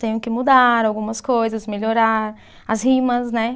Tenho que mudar algumas coisas, melhorar as rimas, né?